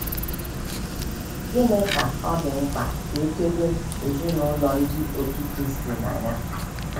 Gịnị ka ọ dị mkpa ka e chebe ezinụlọ Ndị Otú Kristi na ya?